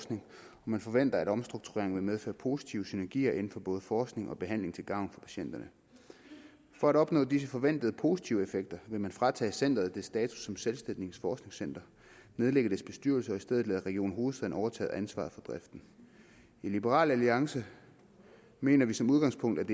man forventer at omstruktureringen vil medføre positive synergier inden for både forskning og behandling til gavn for patienterne for at opnå disse forventede positive effekter vil man fratage centeret dets status som selvstændigt forskningscenter nedlægge dets bestyrelse og i stedet lade region hovedstaden overtage ansvaret for driften i liberal alliance mener vi som udgangspunkt at